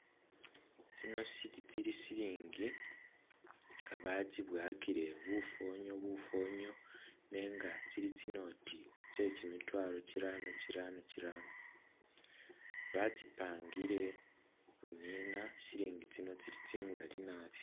Tsino sili tsili silingi nga batsibowakile bufonyo bufonyo nenga tsili tsi note tse kyimitwalo kyirano kyirano kyirano ,batsipangile bunina ,silingi tsino tsili tsingali nabi